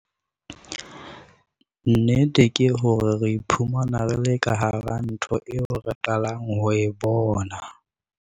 Nnete ke hore re iphumana re le ka hara ntho eo re qalang ho e bona.